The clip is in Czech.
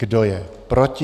Kdo je proti?